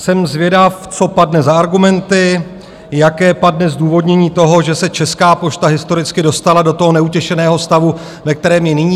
Jsem zvědav, co padne za argumenty, jaké padne zdůvodnění toho, že se Česká pošta historicky dostala do toho neutěšeného stavu, ve kterém je nyní.